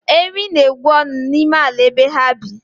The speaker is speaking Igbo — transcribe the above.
Ewii na-egwu ọnụ n'ime ala ebe ha bi